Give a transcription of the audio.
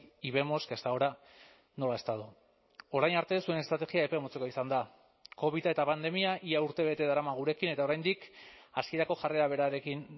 y vemos que hasta ahora no lo ha estado orain arte zuen estrategia epe motzekoa izan da covida eta pandemia ia urtebete darama gurekin eta oraindik hasierako jarrera berarekin